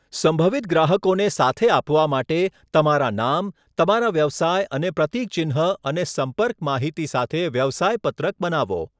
સંભવિત ગ્રાહકોને સાથે આપવા માટે તમારા નામ, તમારા વ્યવસાય અને પ્રતિક ચિન્હ અને સંપર્ક માહિતી સાથે વ્યવસાય પત્રક બનાવો